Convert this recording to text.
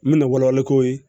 N bɛna wala wala k'o ye